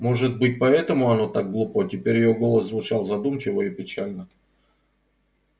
может быть поэтому оно так глупо теперь её голос звучал задумчиво и печально